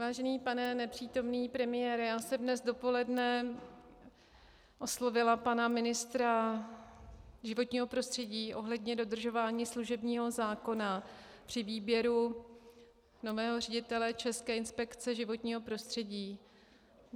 Vážený pane nepřítomný premiére, já jsem dnes dopoledne oslovila pana ministra životního prostředí ohledně dodržování služebního zákona při výběru nového ředitele České inspekce životního prostředí.